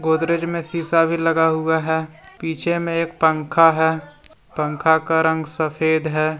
गोदरेज में शीशा भी लगा हुआ है पीछे में एक पंखा है पंखा का रंग सफेद है ।